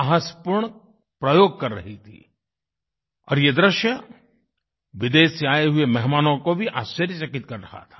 साहसपूर्ण प्रयोग कर रही थीं और ये दृश्य विदेश से आये हुए मेहमानों को भी आश्चर्यचकित कर रहा था